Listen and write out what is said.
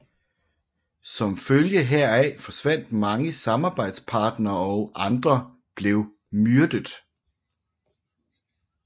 Som følge heraf forsvandt mange samarbejdspartnere og andre blev myrdet